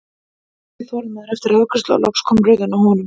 Örn beið þolinmóður eftir afgreiðslu og loks kom röðin að honum.